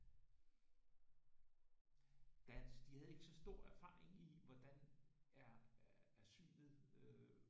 Dansk de havde ikke så stor erfaring i hvordan er synet øh